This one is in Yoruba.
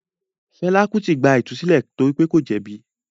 Fela Kuti “ gba ìtúsílẹ̀ torí pé kò jẹ̀bi”.